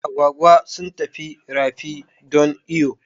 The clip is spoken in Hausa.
Agwagi sun tafi rafi don iyo